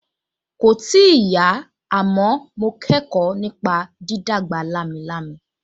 Kòì tíì yá, àmọ́ mo kẹ́kọ̀ọ́ nípa dídàgbà lámilámi